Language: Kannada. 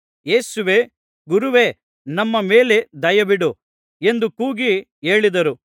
ಯೇಸುವೇ ಗುರುವೇ ನಮ್ಮ ಮೇಲೆ ದಯವಿಡು ಎಂದು ಕೂಗಿ ಹೇಳಿದರು